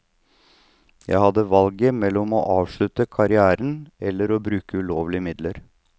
Jeg hadde valget mellom å avslutte karrièren eller å bruke ulovlige midler.